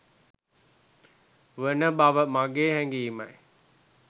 වන බව මගේ හැඟීමයි.